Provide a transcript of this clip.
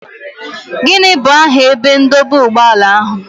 Gịnị bụ aha ebe ndọba ụgbọala ahụ?